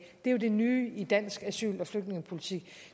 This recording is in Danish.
det er jo det nye i dansk asyl og flygtningepolitik